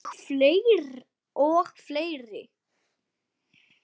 Og fleiri